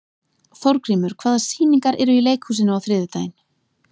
Þórgrímur, hvaða sýningar eru í leikhúsinu á þriðjudaginn?